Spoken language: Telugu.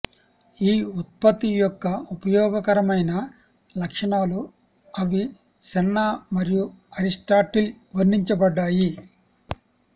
ఈ ఉత్పత్తి యొక్క ఉపయోగకరమైన లక్షణాలు అవిసెన్నా మరియు అరిస్టాటిల్ వర్ణించబడ్డాయి